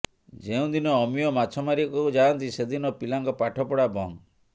ଯେଉଁଦିନ ଅମୀୟ ମାଛ ମାରିବାକୁ ଯାଆନ୍ତି ସେଦିନ ପିଲାଙ୍କ ପାଠ ପଢା ବନ୍ଦ